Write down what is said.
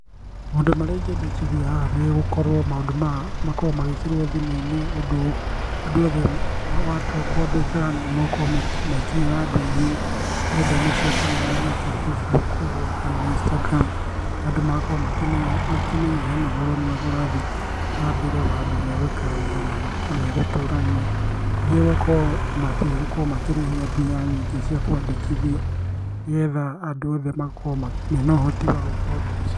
Maũndũ marĩa ingĩendekithia haha nĩ gũkorwo maũndũ maya makorwo magĩĩkĩrwo thimũ-inĩ ũndũ andũ othe matua kwandĩka nĩmegũkorwo magĩkinyĩra andũ aingĩ nenda-inĩ cia ũkinyanĩria ta Facebook ũgũo kana Instagram. Andũ magakorwo makĩmenya hena ũhoro mwega ũrathiĩ na mbere wa andũ megũikarania na megũtũrania. Nĩngĩ gukorwo atĩ matigũkorwo makĩrĩhia mbeca nyingi cia kwandĩkithia nĩgetha andũ othe makorwo mena ũhoti wa gwĩka ũndũ ũcio.